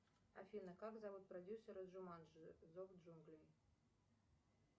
афина как зовут продюсера джуманджи зов джунглей